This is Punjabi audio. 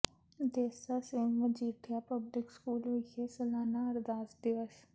ਦੇਸਾ ਸਿੰਘ ਮਜੀਠੀਆ ਪਬਲਿਕ ਸਕੂਲ ਵਿਖੇ ਸਾਲਾਨਾ ਅਰਦਾਸ ਦਿਵਸ